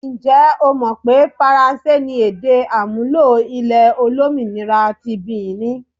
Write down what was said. Ǹjẹ́ o mọ̀ pé faransé ni èdè-àmúlò ilẹ̀ olómìnira ti Bìnì?